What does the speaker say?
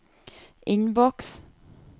innboks